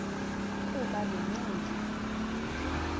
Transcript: kuba le ncindi